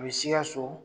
A bɛ sikaso